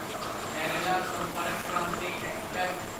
Kerala Sampark Kranti express